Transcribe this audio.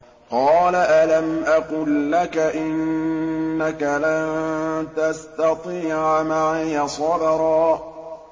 ۞ قَالَ أَلَمْ أَقُل لَّكَ إِنَّكَ لَن تَسْتَطِيعَ مَعِيَ صَبْرًا